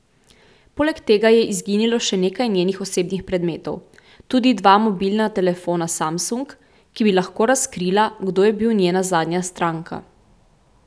Poleg tega je izginilo še nekaj njenih osebnih predmetov, tudi dva mobilna telefona samsung, ki bi lahko razkrila, kdo je bil njena zadnja stranka.